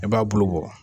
I b'a bulu bɔ